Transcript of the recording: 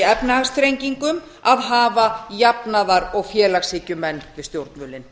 efnahagsþrengingum að hafa jafnaðar og félagshyggjumenn við stjórnvölinn